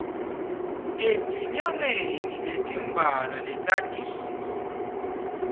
etinyangeni letimbalwa letitako